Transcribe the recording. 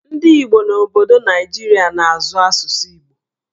Ndị Igbo n'obodo Naijiria na-azụ asụsụ Igbo